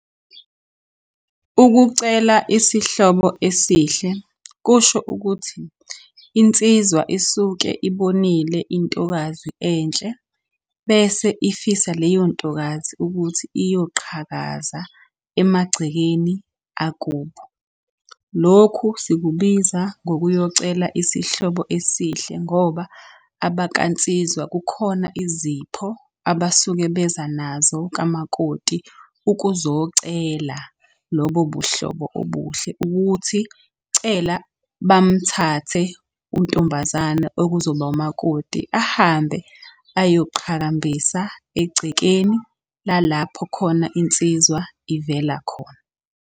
Ukucela isihlobo esihle kusho ukuthi insizwa isuke ibonile intokazi enhle, bese ifisa leyo ntokazi ukuthi iyoqhakaza emagcekeni akubo. Lokhu sikubiza ngokuyocela isihlobo esihle ngoba abakansizwa kukhona izipho abasuke beza nazo kamakoti ukuzocela lobo buhlobo obuhle. Ukuthi cela bamthathe untombazane okuzoba umakoti ahambe ayoqhakambisa egcekeni lalapho khona insizwa ivela khona.